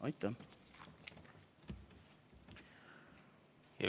Aitäh!